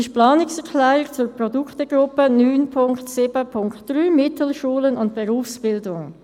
«Produktgruppe 9.7.3 Mittelschulen und Berufsbildung: